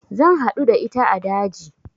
Zan haɗu da ita a daji